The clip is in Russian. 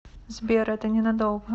сбер это ненадолго